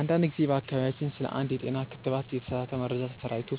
አንድ ጊዜ በአካባቢያችን ስለ አንድ የጤና ክትባት የተሳሳተ መረጃ ተሰራጭቶ